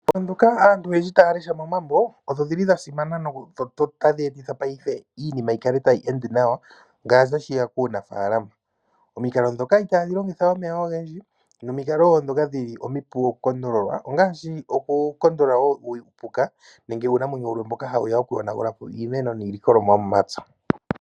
Omikalo ndhoka aantu oyendji taya lesha momambo odhili dhasimana no tadhi eta iinima yi kale tayi ende nawa. Ngele tashiya kuunafalama. Omikalo ndhoka itadhi longitha omeya ogendji nadhoka tadhi kondolola uupuka mbyoka ha wuya kuyonagula po iilikolomwa yo momapya.